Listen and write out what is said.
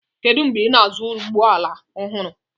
Kedu mgbe ị na-azụ ụgbọ ala ọhụrụ?